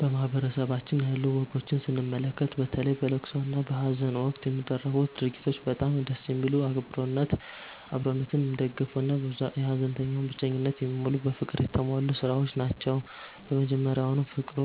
በማህበረሰባችን ያሉ ወጎችን ስንመለከት፣ በተለይ በለቅሶ እና በሃዘን ወቅት የሚደረጉት ድርጊቶች በጣም ደስ የሚሉ፣ አብሮነትን የሚደግፉ እና የሃዘንተኛውን ብቸኝነት የሚሞሉ በፍቅር የተሞሉ ሥራዎች ናቸው። መጀመሪያውኑ ፍቅሩ